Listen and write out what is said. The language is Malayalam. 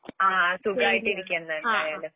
ആഹ് സുഖായിട്ടിരിക്കുന്നെന്തായലും.